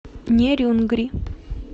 нерюнгри